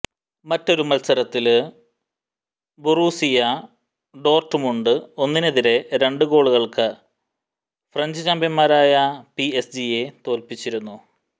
മറ്റൊരു മത്സരത്തില് Borussia Dortmund ഒന്നിനെതിരെ രണ്ട് ഗോളുകള് ഫ്രഞ്ച് ചാമ്പ്യന്മാരായ പിഎസ്ജിയെ തോല്പിച്ചിരുന്നു